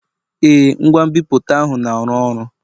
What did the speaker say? Ee, ngwa nbipute ahụ na-arụ ọrụ.